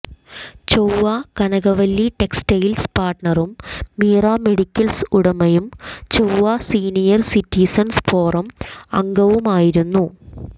ചൊവ്വ കനകവല്ലി ടെക്സ്റ്റൈല്സ് പാര്ട്ണറും മീറ മെഡിക്കല്സ് ഉടമയും ചൊവ്വ സീനിയര് സിറ്റിസണ്സ് ഫോറം അംഗവുമായിരുന്നു